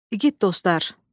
İgid dostlar!